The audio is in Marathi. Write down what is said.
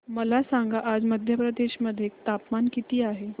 मला सांगा आज मध्य प्रदेश मध्ये तापमान किती आहे